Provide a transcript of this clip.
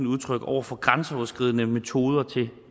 udtryk over for grænseoverskridende metoder